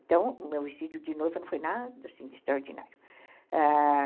Então, o meu vestido de noiva não foi nada assim de extraordinário, ah...